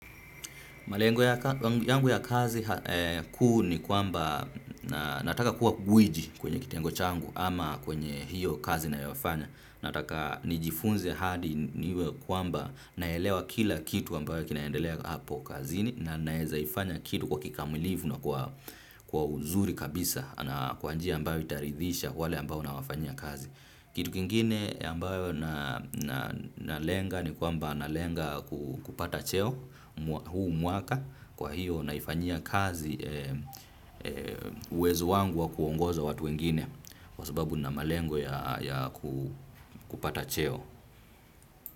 Malengo yangu ya kazi kuu ni kwamba nataka kuwa gwiji kwenye kitengo changu ama kwenye hiyo kazi ninayofanya. Nataka nijifunze hadi niwe kwamba naelewa kila kitu ambayo kinaendelea hapo kazini na nawezaifanya kitu kwa kikamilifu na kwa uzuri kabisa na kwa njia ambayo itaridhisha wale ambao unawafanyia kazi. Kitu kingine ambayo nalenga ni kwamba nalenga kupata cheo huu mwaka kwa hiyo naifanyia kazi uwezo wangu wa kuongoza watu wengine kwa sababu nina malengo ya kupata cheo.